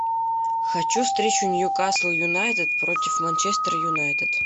хочу встречу ньюкасл юнайтед против манчестер юнайтед